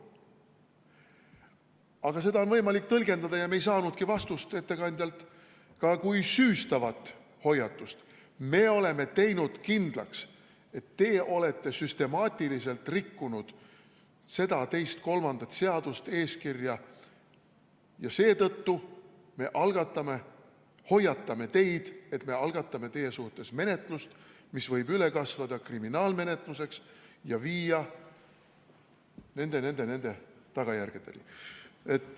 Aga seda hoiatust on võimalik tõlgendada – me ei saanudki ettekandjalt selle kohta vastust – ka kui süüstavat hoiatust: me oleme teinud kindlaks, et te olete süstemaatiliselt rikkunud seda, teist või kolmandat seadust-eeskirja, ja seetõttu me hoiatame teid, et algatame teie suhtes menetluse, mis võib üle kasvada kriminaalmenetluseks ja viia nende või nende tagajärgedeni.